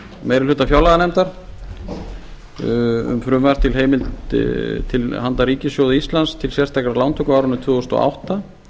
meiri hluta fjárlaganefndar um frumvarp til handa ríkissjóði íslands til sérstakrar lántöku á árinu tvö þúsund og átta